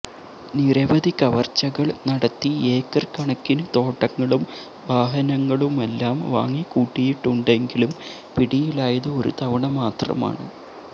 നിരവധി കവര്ച്ചകള് നടത്തി ഏക്കര് കണക്കിന് തോട്ടങ്ങളും വാഹനങ്ങളുമെല്ലാം വാങ്ങിക്കൂട്ടിയിട്ടുണ്ടെങ്കിലും പിടിയിലായത് ഒരു തവണ മാത്രമാണ്